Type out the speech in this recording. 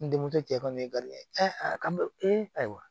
N denmuso cɛ kɔni ye garibu ye a ka ayiwa